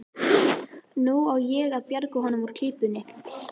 Nú á að bjarga honum úr klípunni.